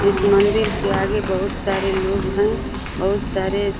इस मंदिर के आगे बहुत सारे लोग हैं। बहुत सारे --